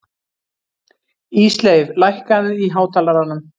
Ísleif, lækkaðu í hátalaranum.